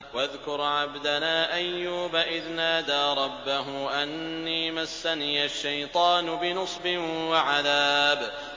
وَاذْكُرْ عَبْدَنَا أَيُّوبَ إِذْ نَادَىٰ رَبَّهُ أَنِّي مَسَّنِيَ الشَّيْطَانُ بِنُصْبٍ وَعَذَابٍ